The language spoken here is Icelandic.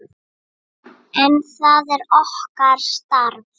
En það er okkar starf.